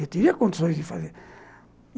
Eu teria condições de fazer.